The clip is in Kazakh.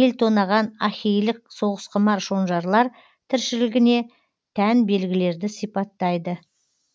ел тонаған ахейлік соғысқұмар шонжарлар тіршілігіне тән белгілерді сипаттайды